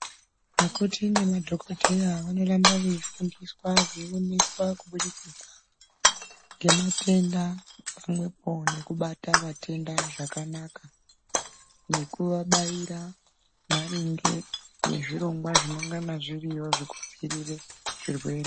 Akoti nemadhokodheya vanoramba veifundiswa ,veioneswa kubudikidza ngematenda, pamwepo nekubata vatenda zvakanaka, nekuvabaira maringe nezvirongwa zvinongana zviriyo zvokudziirire zvirwere.